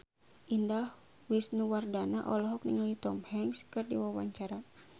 Indah Wisnuwardana olohok ningali Tom Hanks keur diwawancara